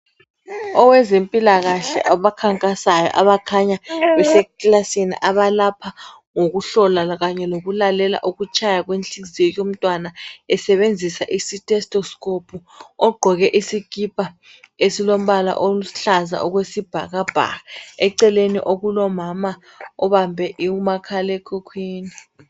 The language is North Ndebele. Owezempilakahle abakhankasayo abakhanya besekilasini abalapha ngokuhlola Kanye lokulalela inhliziyo yomntwana esebenzisa i-thestoscope ogqoke isikipa esilombala oluhlaza okwesibhakabhaka. Eceleni kulomama obambe umakhalekhukhwini